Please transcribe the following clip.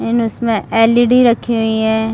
इन उसमे L. E. D रखी हुए है।